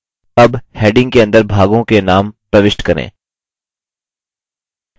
अब heading के अंदर भागों के now प्रविष्ट करें